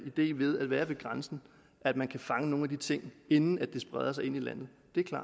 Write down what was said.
idé ved at være ved grænsen at man kan fange nogle af de ting inden det spreder sig ind i landet